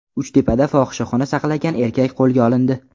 Uchtepada fohishaxona saqlagan erkak qo‘lga olindi.